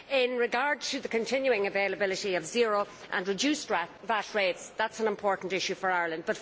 In regard to the continuing availability of zero and reduced VAT rates, that is an important issue for Ireland.